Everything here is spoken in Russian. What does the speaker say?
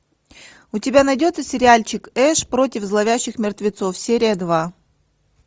у тебя найдется сериальчик эш против зловещих мертвецов серия два